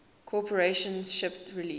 corporation shipped release